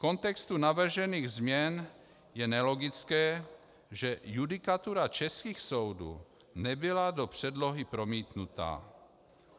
V kontextu navržených změn je nelogické, že judikatura českých soudů nebyla do předlohy promítnuta.